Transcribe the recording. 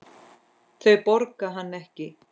Þau borga hann ekki.